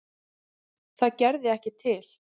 Það gerði ekki til.